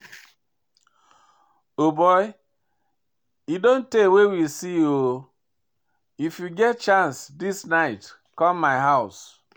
O boy e don tey wey we see oo, if you get chance dis night come my house